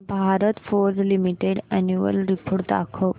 Bharat Forge limited annual report दाखव